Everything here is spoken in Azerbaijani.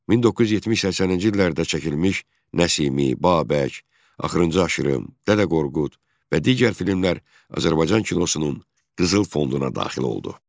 1970-80-ci illərdə çəkilmiş Nəsimi, Babək, Axırıncı Aşırım, Dədə Qorqud və digər filmlər Azərbaycan kinosunun qızıl fonduna daxil oldu.